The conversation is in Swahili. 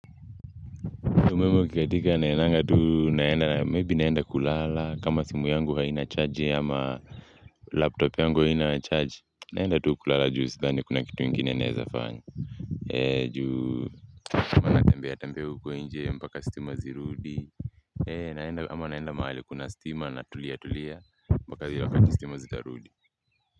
Umeme ukikatila naendanga tu naenda na may be naenda kulala kama simu yangu haina chaji ama laptop yangu haina chaji naenda tuu kulala juu sidhani kuna kitu ingine naeza fanya juu tuna tembea tembea huko nje mpaka stima zirudi ama naenda mahali kuna stima natulia tulia mpaka vile wakati stima zitarudi.